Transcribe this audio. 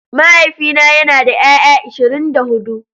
Mahaifina yana da 'ya'ya ashirin da hudu.